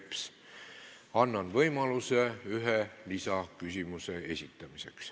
Annan iga teema arutelul võimaluse ühe lisaküsimuse esitamiseks.